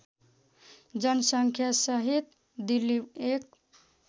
जनसङ्ख्यासहित दिल्ली एक